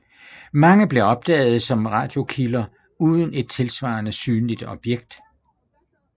Mange blev opdaget som radiokilder uden et tilsvarende synligt objekt